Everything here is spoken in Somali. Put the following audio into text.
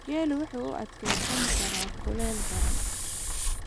Geelu wuxuu u adkeysan karaa kulayl daran.